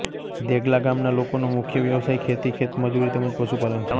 દેગલા ગામના લોકોનો મુખ્ય વ્યવસાય ખેતી ખેતમજૂરી તેમ જ પશુપાલન છે